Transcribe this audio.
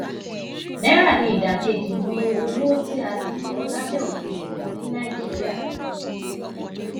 naira ni ida keji ni owo ti a le na labẹ ofin nikan ni naijiria